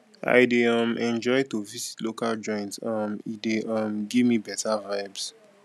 i dey um enjoy to visit local joints um e dey um give me beta vibes